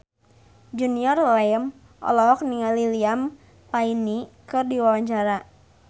Junior Liem olohok ningali Liam Payne keur diwawancara